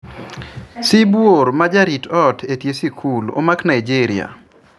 Sibuor ma jarit ot etie sikul omak Nigeria